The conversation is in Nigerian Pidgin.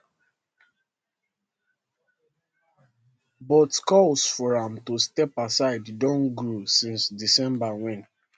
but calls for am to step aside don grow since december wen